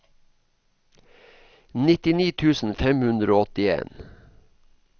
nittini tusen fem hundre og åttien